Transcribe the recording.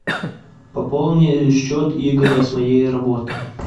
пополни счет игоря с моей работы